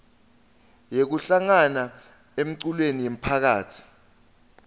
yekuhlangana emculweni yemphakasi